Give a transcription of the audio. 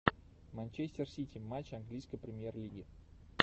манчестер сити матч английской премьер лиги